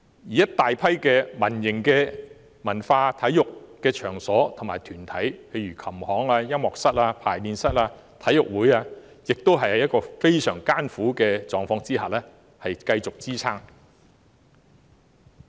此外，大批民營文化體育場所和團體，例如琴行、音樂室、排練室和體育會等，也是在非常艱苦的狀況下繼續支撐。